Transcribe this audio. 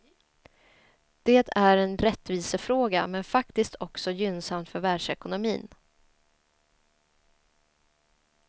Det är en rättvisefråga, men faktiskt också gynnsamt för världsekonomin.